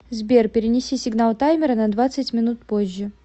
сбер перенеси сигнал таймера на двадцать минут позже